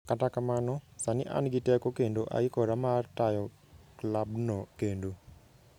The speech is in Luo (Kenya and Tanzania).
Kata kamano, sani an gi teko kendo aikora mar tayo klabno kendo".